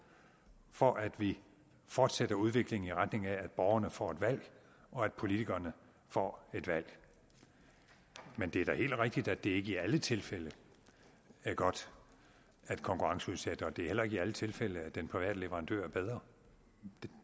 for at vi fortsætter udviklingen i retning af at borgerne får et valg og at politikerne får et valg men det er da helt rigtigt at det ikke i alle tilfælde er godt at konkurrenceudsætte og det er heller ikke i alle tilfælde at den private leverandør er bedre